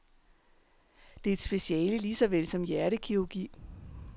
Det er et speciale lige såvel som hjertekirurgi.